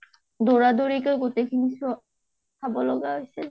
দৌৰা দৌৰিকে গোটেইখিনি চোৱা, চাব লগা হৈছিল |